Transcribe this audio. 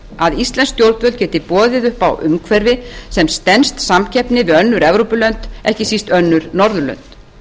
að íslensk stjórnvöld geti boðið upp á umhverfi sem stenst samkeppni við önnur evrópulönd ekki síst önnur norðurlönd